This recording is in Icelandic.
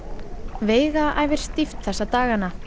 veiga æfir stíft þessa dagana